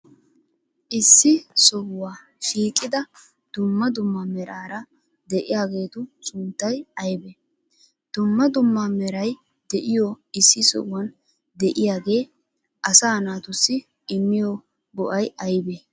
Issi sohuwa shiqqida duummaa duummaa meraara de'iyageetu sunttay aybee? Duummaa duummaa meraay de'iyo issi sohuwan de'iyagee asaa naatussi immiyo go'ay aybee?